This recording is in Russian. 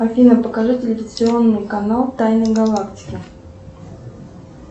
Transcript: афина покажи телевизионный канал тайны галактики